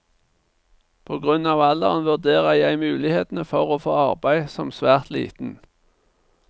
På grunn av alderen vurderer jeg mulighetene for å få arbeid som svært liten.